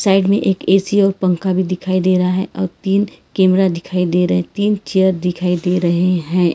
Side में एक AC और पंखा भी दिखाई दे रहा है और तीन कैमरा दिखाई दे रहे हैं तीन चेयर दिखाई दे रहे हैं।